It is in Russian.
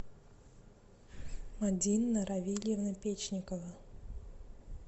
мадинна равильевна печникова